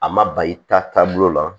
A ma ba i ta taabolo la